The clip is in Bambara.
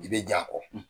I bɛ ja kɔ